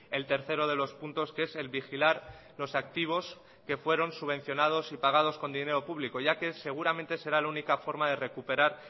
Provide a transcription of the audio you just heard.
el tercero de los puntos que es el vigilar los activos que fueron subvencionados y pagados con dinero público ya que seguramente será la única forma de recuperar